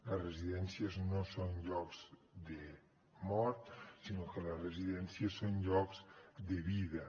les residències no són llocs de mort sinó que les residències són llocs de vida